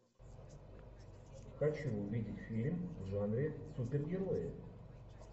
хочу увидеть фильм в жанре супергерои